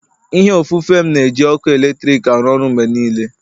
ihe ofufe m na-eji ọkụ eletrik arụ ọrụ mgbe niile